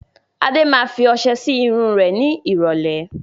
Adé máa fi ọsẹ sì irun rẹ ni ìrọ̀lẹ́